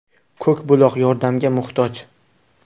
Ko‘k buloq yordamga muhtoj.